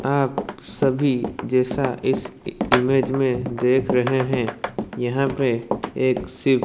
आप सभी जैसा इस इ इमेज में देख रहे हैं यहां पे एक सी--